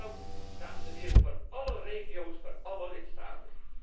Dat geldt, dames en heren, voor alle regio's, voor alle lidstaten.